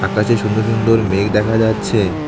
আকাশে সুন্দর সুন্দর মেঘ দেখা যাচ্ছে।